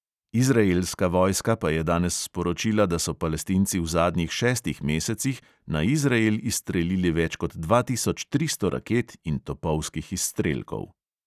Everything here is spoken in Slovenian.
Izraelska vojska pa je danes sporočila, da so palestinci v zadnjih šestih mesecih na izrael izstrelili več kot dva tisoč tristo raket in topovskih izstrelkov.